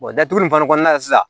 datuguli fana kɔnɔna na sisan